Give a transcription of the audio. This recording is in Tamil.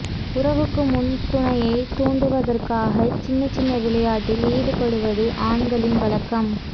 உறவுக்கு முன் துணையை தூண்டுவதற்காக சின்ன சின்ன விளையாட்டில் ஈடுபடுவது ஆண்களின் வழக்கம்